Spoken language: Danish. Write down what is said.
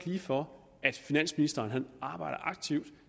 lige for at finansministeren arbejder aktivt